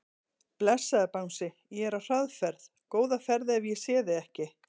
Blessaður Bangsi, ég er á hraðferð, góða ferð ef ég sé þig ekki.